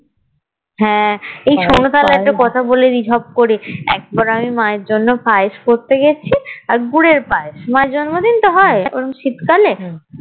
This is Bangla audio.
হ্যাঁ এই শোনো তাহলে একটা কথা বলে নি ঝপ করে একবার আমি মা এর জন্যে পায়েস করতে গেছি আর গুড়ের পায়েস মা এর জন্ম দিন তো হয়ে ওরম শীতকালে